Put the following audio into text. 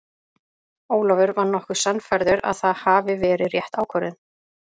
Ólafur var nokkuð sannfærður að það hafi verið rétt ákvörðun.